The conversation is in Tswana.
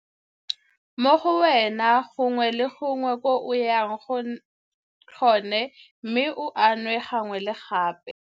Mo go wena gongwe le gongwe ko o yang gone mme o a nwe gangwe le gape.